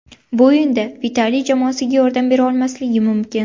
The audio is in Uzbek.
Bu o‘yinda Vitaliy jamoasiga yordam bera olmasligi mumkin.